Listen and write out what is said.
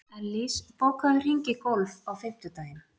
Ellís, bókaðu hring í golf á fimmtudaginn.